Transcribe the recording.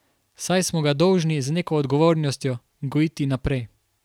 Saj smo ga dolžni z neko odgovornostjo gojiti naprej.